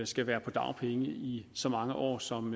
skal være på dagpenge i så mange år som